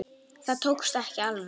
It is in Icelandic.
Það tókst ekki alveg.